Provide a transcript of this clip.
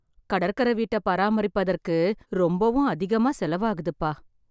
கடற்கர வீட்ட பராமரிப்பதற்கு ரொம்பவும் அதிகமாக செலவு ஆகுதுப்பா.